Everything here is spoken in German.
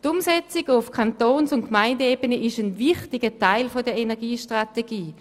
Die Umsetzung auf Kantons- und Gemeindeebene ist ein wichtiger Teil der Energiestrategie.